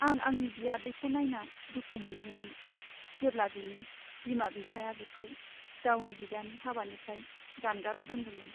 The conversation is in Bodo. आं आंनि बियादैखौ नायना दुखु मोनदोंमोन जेब्ला बिनि बिमा बिफाया बिखौ गावनि बिदानि हाबानिफ्राय जानगाराव दोनदोंमोन।